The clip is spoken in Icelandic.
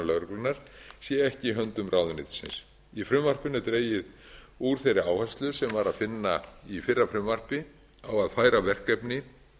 lögreglunnar sé ekki í höndum ráðuneytisins í frumvarpinu er dregið úr þeirri áherslu sem var að finna í fyrra frumvarpi á að færa verkefni